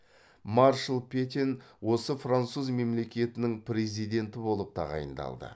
маршал петен осы француз мемлекетінің президенті болып тағайындалды